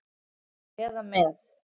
eða með